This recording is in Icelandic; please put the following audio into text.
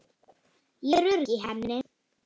Ég er örugg í henni.